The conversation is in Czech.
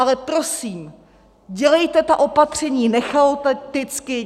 Ale prosím, dělejte ta opatření nechaoticky!